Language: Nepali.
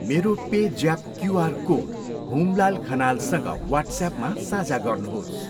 मेरो पे ज्याप क्युआर कोड हुमलाल खनालसँग वाट्स्यापमा साझा गर्नुहोस्।